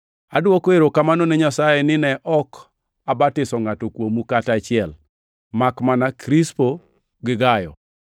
Adwoko erokamano ne Nyasaye ni ne ok abatiso ngʼato kuomu kata achiel makmana Krispo gi Gayo,